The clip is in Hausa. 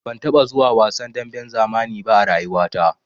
Ban taɓa zuwa wasan damben zamani ba a rayuwata.